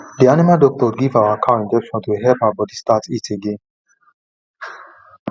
the animal doctor give our cow injection to help her body start heat again